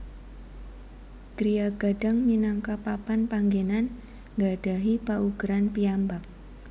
Griya Gadang minangka papan panggenan nggadhahi paugeran piyambak